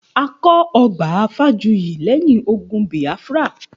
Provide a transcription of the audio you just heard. A kọ́ ọgbà Fájuyì lẹ́yìn ogun Biafra